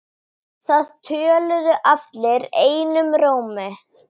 Æðarnar eru bláar.